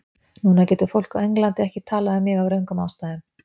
Núna getur fólk á Englandi ekki talað um mig af röngum ástæðum.